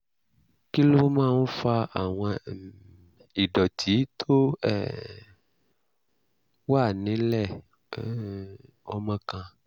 kí ló máa ń fa àwọn um ìdọ̀tí tó um wà nílẹ̀ um ọmọ kan?